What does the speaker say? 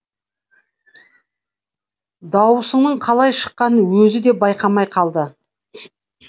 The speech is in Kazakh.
дауысының қалай шыққанын өзі де байқамай қалды